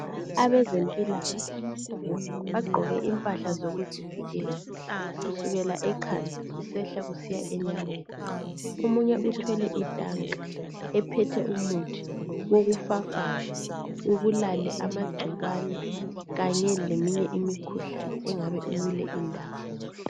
Abezempilakahle bagqoke impahla zokuzivikela kusukela ekhanda kusehla kusiya enyaweni. Omunye uthwele itanka ephethe umuthi wokufafaza ubulale amagcikwane Kanye leminye imikhuhlane engabe ikule indawo.